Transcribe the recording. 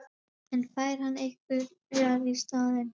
En fær hann einhverjar í staðinn?